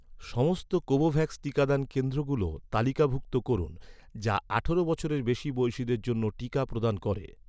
সমস্ত কোভোভ্যাক্স টিকাদান কেন্দ্রগুলো তালিকাভুক্ত করুন, যা আঠারো বছরের বেশি বয়সিদের জন্য টিকা প্রদান করে